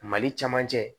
Mali caman cɛ